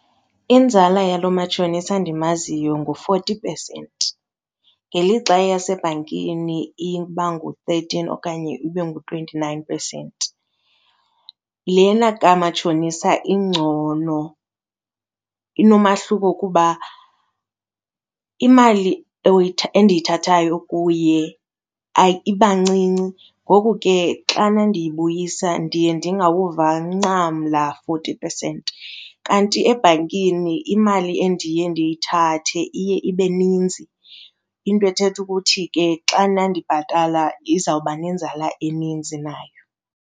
Inzala yalo matshonisa ndimaziyo ngu-forty percent ngelixa eyasebhankini iba ngu-thirteen okanye ibe ngu-twenty-nine percent. Lena kamatshonisa ingcono, inomahluko kuba imali endiyithethayo kuye iba ncinci ngoku ke xana ndiyibuyisa ndiye ndingawuva ncam laa forty percent. Kanti ebhankini imali endiye ndiyithathe iye ibe ninzi, into ethetha ukuthi ke xana ndibhatala izawuba nenzala eninzi nayo.